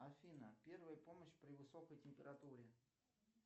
афина первая помощь при высокой температуре